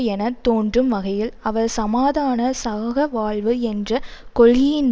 என தோன்றும் வகையில் அவர் சமாதான சகவாழ்வு என்ற கொள்கையின்